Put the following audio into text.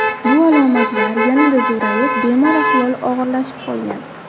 Bu alomatlar yanada zo‘rayib, bemor ahvoli og‘irlashib qolgan.